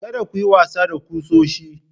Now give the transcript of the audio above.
Kada ku yi wasa da kusoshi.